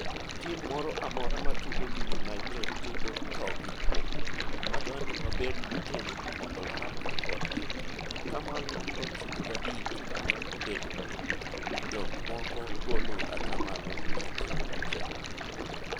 Tim moro amora ma tugo gi United tugo tho gi kwo, wadwa ni wabed motegno mondo warakre kodgi ,Ataa malo 95 kata kobedo ni jok moko golo ataa malo 101.